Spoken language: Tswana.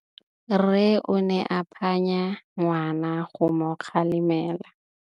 Rre o ne a phanya ngwana go mo galemela.